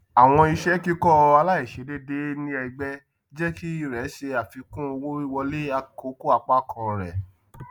àwọn iṣẹ kíkọ aláìṣedéédé ní ẹgbẹ jẹ kí rẹ ṣe àfikún owówíwọlé àkókòapákan rẹ